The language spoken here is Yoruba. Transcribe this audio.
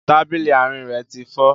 Tábìlì àárín rẹ ti fọ́